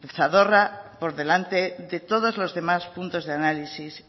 el zadorra por delante de todos los demás puntos de análisis